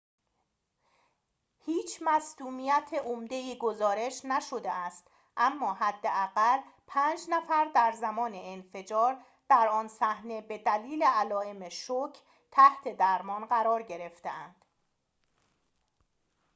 هیچ مصدومیت عمده ای گزارش نشده است اما حداقل پنج نفر در زمان انفجار در آن صحنه به دلیل علائم شوک تحت درمان قرار گرفتند